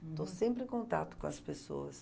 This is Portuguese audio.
Uhum. Estou sempre em contato com as pessoas.